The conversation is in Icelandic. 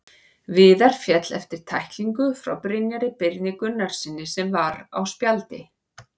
Viðar féll eftir tæklingu frá Brynjari Birni Gunnarssyni sem var á spjaldi.